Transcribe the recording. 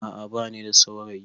A'a ba ni da saurayi